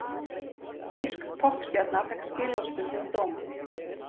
Þýsk poppstjarna fékk skilorðsbundinn dóm